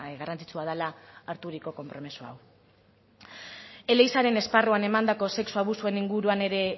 garrantzitsua dela harturiko konpromiso hau elizaren esparruan emandako sexu abusuen inguruan ere